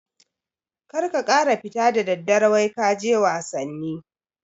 kar ka kara fita da daddare wai kaje wasanni